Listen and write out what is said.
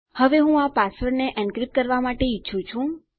હવે હું આ પાસવર્ડોને એન્ક્રિપ્ટ કરવા માટે ઈચ્છું છું